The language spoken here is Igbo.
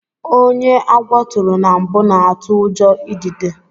Ónyé agwọ turu na mbụ na atụ ụjọ idide.